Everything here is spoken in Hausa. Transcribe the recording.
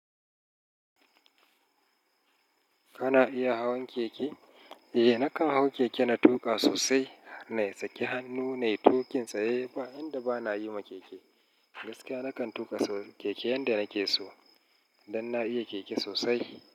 Kana iya hawan keke? Eh nakan hau keke na tuƙa sosai, na yi saki hannu na yi tuƙin tsaye, ba yanda bana yi ma keke. Gaskiya nakan tuƙa keke yanda nake so, dan na iya keke sosai.